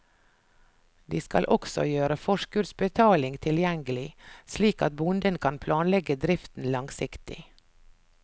De skal også gjøre forskuddsbetaling tilgjengelig, slik at bonden kan planlegge driften langsiktig.